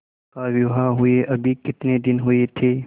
उसका विवाह हुए अभी कितने दिन हुए थे